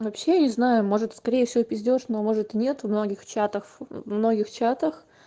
вообще не знаю может скорее всего пиздеж но может нет многих чатах многих чатах